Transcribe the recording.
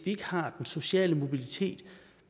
ikke har den sociale mobilitet